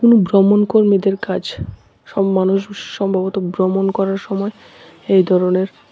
কোন ভ্রমণ কর্মীদের কাজ সব মানুষ সম্ভবত ভ্রমণ করার সময় এই ধরনের--